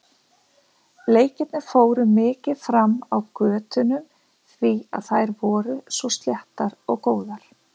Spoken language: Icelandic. Leikirnir fóru mikið fram á götunum því að þær voru svo sléttar og góðar.